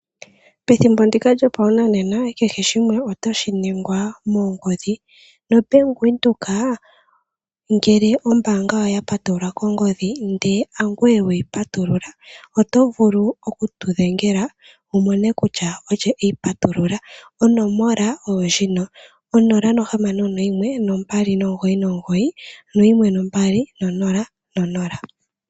Pethimbo ndika lyoshinanena kehe shimwe otashi ningwa mongodhi. NoBank Windhoek, ngele ombaanga yawo oya patululwa kongodhi, ihe hangoye we yi patulula, oto vulu oku tu dhengela wu mone kutya olye e yi patulula. Onomola 061 2991200.